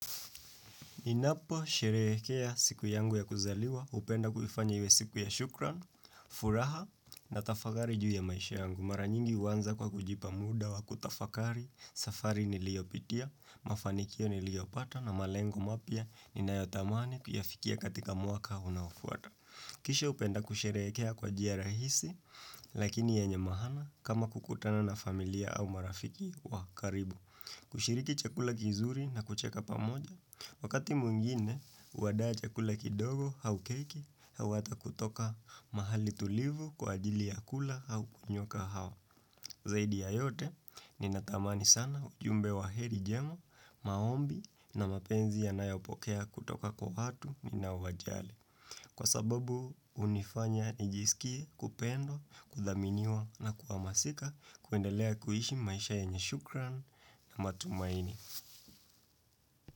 Ninaposherekea siku yangu ya kuzaliwa, hupenda kufanya iwe siku ya shukran, furaha na tafakari juu ya maisha yangu. Mara nyingi huanza kwa kujipa muda wa kutafakari, safari niliopitia, mafanikio niliopata na malengo mapya ninayotamani kuyafikia katika mwaka unafuata. Kisha hupenda kusherekea kwa njia rahisi, lakini yenye maana kama kukutana na familia au marafiki wa karibu. Kushiriki chakula kizuri na kucheka pamoja, wakati mwingine, huandaa chakula kidogo au keki, au ata kutoka mahali tulivu kwa ajili ya kula au kunywa kahawa. Zaidi ya yote, ninatamani sana ujumbe wa heri njema, maombi na mapenzi ya nayopokea kutoka kwa watu ninawajali. Kwa sababu hunifanya nijisikie kupendwa, kudhaminiwa na kuamasika kuendelea kuhishi maisha yenye shukran na matumaini.